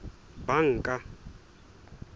banka